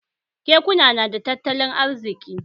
Kekuna nada tattalin arziki?